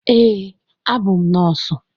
Ee, abụ m nọọsụ.